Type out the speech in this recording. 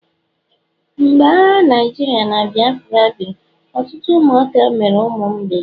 mgbe agha Naijirịa na Biafra biri, ọtụtụ ụmụaka mere ụmụ mgbei